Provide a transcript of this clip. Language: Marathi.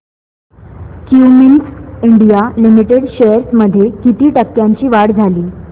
क्युमिंस इंडिया लिमिटेड शेअर्स मध्ये किती टक्क्यांची वाढ झाली